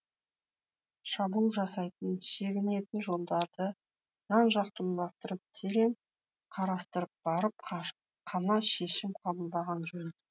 шабуыл жасайтын шегінетін жолдарды жан жақты ойластырып терең қарастырып барып қана шешім қабылдаған жөн